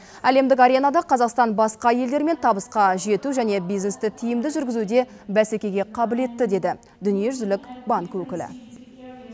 әлемдік аренада қазақстан басқа елдермен табысқа жету және бизнесті тиімді жүргізуде бәсекеге қабілетті деді дүниежүзілік банк өкілі